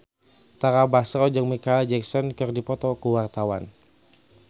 Tara Basro jeung Micheal Jackson keur dipoto ku wartawan